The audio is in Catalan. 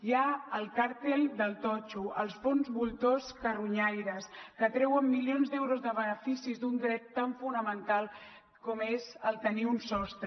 hi ha el càrtel del totxo els fons voltor carronyaires que treuen milions d’euros de beneficis d’un dret tan fonamental com és el tenir un sostre